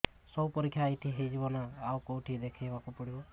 ସବୁ ପରୀକ୍ଷା ଏଇଠି ହେଇଯିବ ନା ଆଉ କଉଠି ଦେଖେଇ ବାକୁ ପଡ଼ିବ